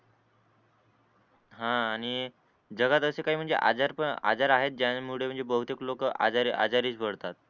हान आणि जगात असे काय आजार पण आजार आहेत ज्यानं मुळेबहुतेक लोक आजारी आजारी पडतात